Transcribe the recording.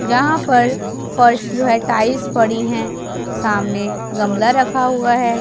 जहां पर फर्श जो हे टाइल्स पड़ी हैं सामने गमला रखा हुआ है।